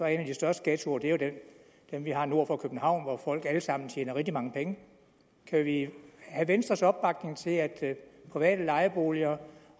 er en af de største ghettoer jo den vi har nord for københavn hvor folk alle sammen tjener rigtig mange penge kan vi have venstres opbakning til at private lejeboliger